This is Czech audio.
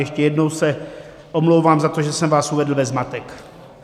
Ještě jednou se omlouvám za to, že jsem vás uvedl ve zmatek.